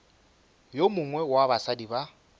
yo mongwe wa basadi ba